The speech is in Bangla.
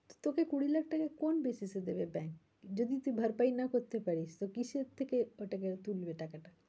তোকে কুড়ি লাখ টাকা কোন যুক্তিতে দেবে bank যদি তুই ভরপাই না করতে পারিস? তো কিসের থেকে ওটাকে তুলবে টাকাটা?